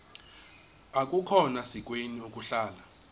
akukhona sikweni ukuhlala